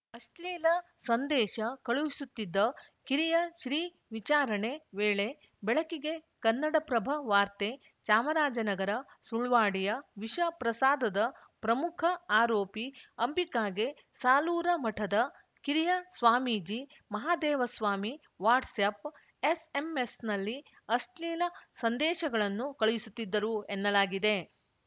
ಅಶ್ಲೀಲ ಸಂದೇಶ ಕಳುಹಿಸುತ್ತಿದ್ದ ಕಿರಿಯ ಶ್ರೀ ವಿಚಾರಣೆ ವೇಳೆ ಬೆಳಕಿಗೆ ಕನ್ನಡಪ್ರಭ ವಾರ್ತೆ ಚಾಮರಾಜನಗರ ಸುಳ್ವಾಡಿಯ ವಿಷ ಪ್ರಸಾದದ ಪ್ರಮುಖ ಆರೋಪಿ ಅಂಬಿಕಾಗೆ ಸಾಲೂರು ಮಠದ ಕಿರಿಯ ಸ್ವಾಮೀಜಿ ಮಹದೇವಸ್ವಾಮಿ ವಾಟ್ಸ್‌ಆ್ಯಪ್‌ ಎಸ್‌ಎಂಎಸ್‌ನಲ್ಲಿ ಅಶ್ಲೀಲ ಸಂದೇಶಗಳನ್ನು ಕಳುಹಿಸುತ್ತಿದ್ದರು ಎನ್ನಲಾಗಿದೆ